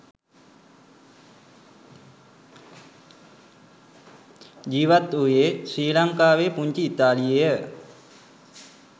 ජීවත් වූයේ ශ්‍රී ලංකාවේ පුංචි ඉතාලියේය.